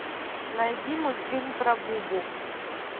найди мультфильм про бубу